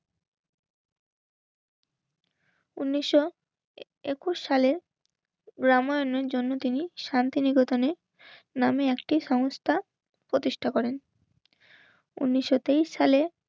উনিশশো একুশ সালে রামায়ণের জন্ম তিনি শান্তিনিকেতনে নামে একটি সংস্থা প্রতিষ্ঠা করেন উনিশশো তেইশ সালে